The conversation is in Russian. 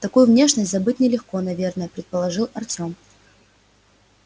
такую внешность забыть нелегко наверное предположил артём